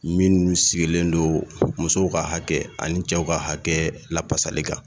Minnu sigilen don musow ka hakɛ ani cɛw ka hakɛ lafasali kan